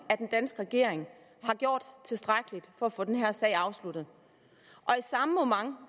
den danske regering har gjort tilstrækkeligt for at få den her sag afsluttet